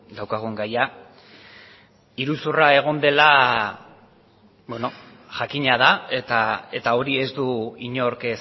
daukagun gaia iruzurra egon dela jakina da eta hori ez du inork